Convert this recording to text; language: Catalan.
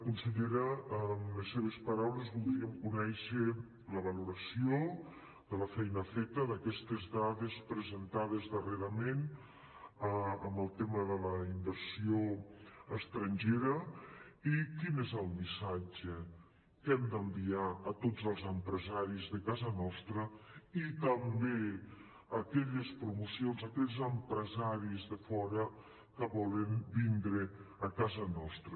consellera amb les seves paraules voldríem conèixer la valoració de la feina feta d’aquestes dades presentades darrerament en el tema de la inversió estrangera i quin és el missatge que hem d’enviar a tots els empresaris de casa nostra i també a aquelles promocions a aquells empresaris de fora que volen vindre a casa nostra